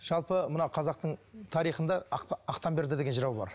жалпы мына қазақтың тарихында ақтамберді деген жырау бар